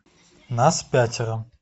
нас пятеро